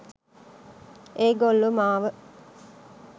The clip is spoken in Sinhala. ඒගොල්ලො මාව